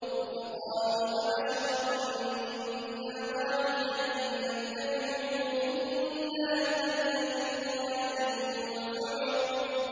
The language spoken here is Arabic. فَقَالُوا أَبَشَرًا مِّنَّا وَاحِدًا نَّتَّبِعُهُ إِنَّا إِذًا لَّفِي ضَلَالٍ وَسُعُرٍ